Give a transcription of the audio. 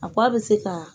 A ba bɛ se ka